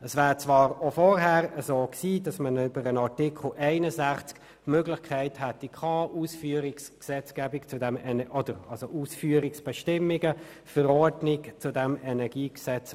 Es hätte zwar auch vorher bei Artikel 61 die Möglichkeit bestanden, Ausführungsbestimmungen zum EnG zu erlassen.